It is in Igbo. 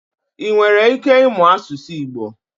I nwere ike ịmụ asụsụ Igbo?